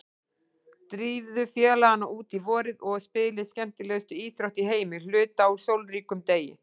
Drífðu félagana út í vorið og spilið skemmtilegustu íþrótt í heimi hluta úr sólríkum degi.